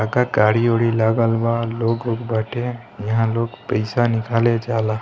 का गाड़ी-उड़ी लागल बा लोग ऊग बाटे यहाँ लोग पैसा निकले जला |